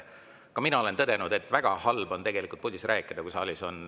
Ka mina olen tõdenud, et väga halb on puldis rääkida, kui saalis on lärm.